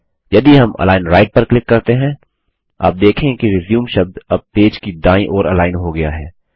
यदि हम align right पर क्लिक करते हैं आप देखेंगे कि रिज्यूम शब्द अब पेज की दायीं ओर अलाइन हो गया है